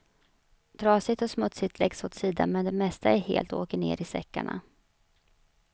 Trasigt och smutsigt läggs åt sidan men det mesta är helt och åker ner i säckarna.